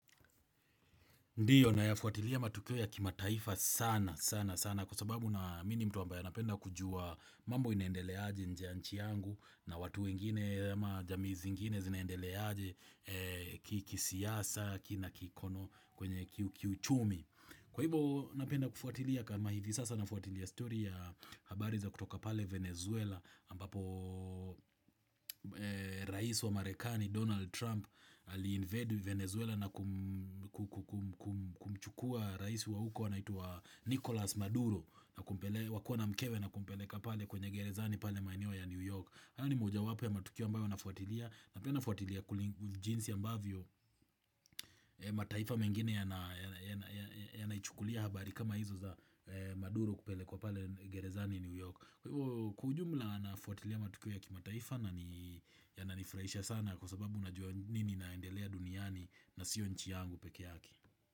Ndiyo nayafuatilia matukio ya kimataifa sana sana sana, kwa sababu na mimi ni mtu ambaye napenda kujua mambo inaendelea aje nje ya nchi yangu, na watu wengine ama jamii zingine zinaendelea aje kisiasa kina kikono kwenye kiuchumi. Kwa hivyo napenda kufuatilia, kama hivi sasa nafuatilia story ya habari za kutoka pale Venezuela, ambapo rais wa marekani Donald Trump ali invade Venezuela na kumchukua rais wa huko wanaitwa Nicholas Maduro, na kumpeleka wakiwa na mkewe na kumpeleka pale kwenye gerezani pale maeneo ya New York. Hayo ni mojawapo ya matukio ambayo nafuatilia na pia nafuatilia jinsi ambavyo mataifa mengine yanaichukulia habari kama hizo za Maduro kupelekwa pale gerezani New York Kwa ujumla, nafuatilia matukio ya kimataifa, na ni Inanifurahisha sana kwa sababu najua nini inaendelea duniani na sio nchi yangu peke yake.